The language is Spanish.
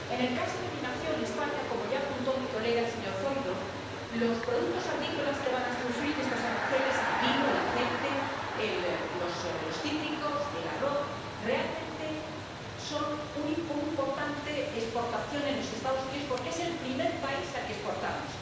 En el caso de mi nación, España, como ya apuntó mi colega, el señor Zoido, los productos agrícolas que van a sufrir estos aranceles ⸻el vino, el aceite, los cítricos, el arroz⸻ realmente suponen una importante exportación en los Estados Unidos, porque es el primer país al que exportamos.